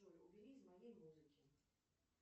джой убери из моей музыки